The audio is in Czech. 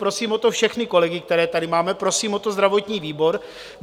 Prosím o to všechny kolegy, které tady máme, prosím o to zdravotní výbor.